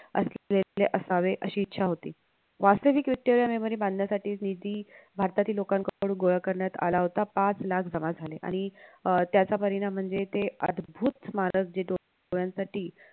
असावे अशी इच्छा होती वास्तविक रित्या memory बांधण्यासाठी निधी भारतातील लोकांकडून गोळा करण्यात आला होता पाच लाख जमा झाले आणि अह त्याचा परिणाम म्हणजे ते अद्भुत स्मारक जे डो डोळ्यांसाठी